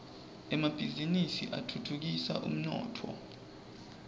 emabhiznnisi atfutfukisa umnotfo